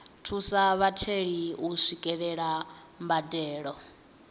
thusa vhatheli u swikelela mbadelo